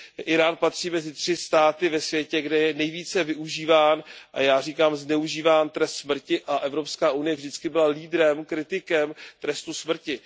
Írán patří mezi 3 státy na světě, kde je nejvíce využíván a já říkám zneužíván trest smrti, a EU vždy byla lídrem, kritikem trestu smrti.